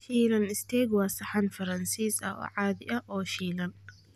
Shiilan isteek waa saxan Faransiis ah oo caadi ah oo shiilan.